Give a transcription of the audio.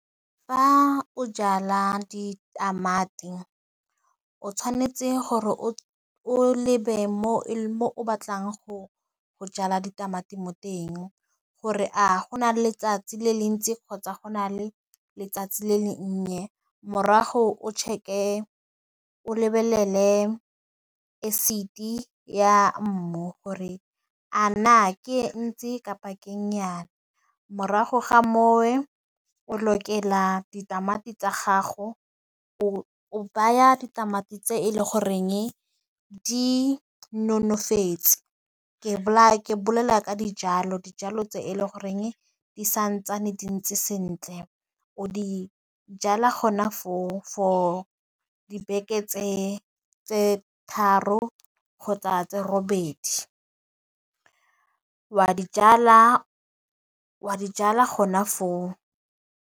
Fa o jala ditamati, o tshwanetse gore o o lebe mo o batlang go jala ditamati mo teng, gore a gona letsatsi le le ntsi kgotsa go na le letsatsi le le nnye, morago o lebelele ya mmu gore a na ke e ntsi kapa ke , morago ga mowe, o lokela ditamati tsa gago, o o baya ditamati tse e le goreng di nonofetse, ke bolela ka dijalo dijalo tse e leng goreng di santsane di ntse sentle, o di jala gona foo for dibeke tse tse tharo kgotsa tse robedi, wa dijalwa gona foo.